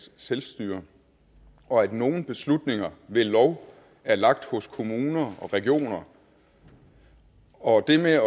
selvstyre og at nogle beslutninger ved lov er lagt hos kommuner og regioner og det med at